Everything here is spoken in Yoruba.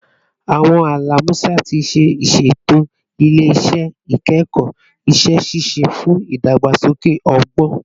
Awọn ala Musa ti iṣeto ile-iṣẹ ikẹkọ iṣẹ-ṣiṣe fun idagbasoke ọgbọn